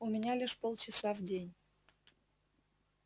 у меня лишь полчаса в день